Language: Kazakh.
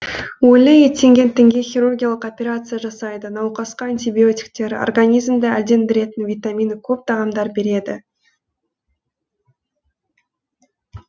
өлі еттенген тінге хирургиялық операция жасайды науқасқа антибиотиктер организмді әлдендіретін витамині көп тағамдар береді